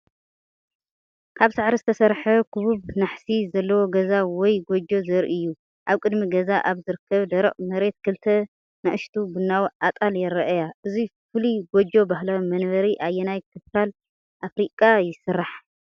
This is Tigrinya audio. ካብ ሳዕሪ ዝተሰርሐ ክቡብ ናሕሲ ዘለዎ ገዛ ወይ ጎጆ ዘርኢ እዩ። ኣብ ቅድሚ ገዛ ኣብ ዝርከብ ደረቕ መሬት ክልተ ንኣሽቱ ቡናዊ ኣጣል ይረኣያ። እዚ ፍሉይ ጎጆ ባህላዊ መንበሪ ኣየናይ ክፋል ኣፍሪቃ ይስራሕ?